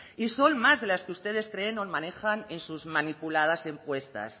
y son más de las que ustedes creen o manejan en sus manipuladas encuestas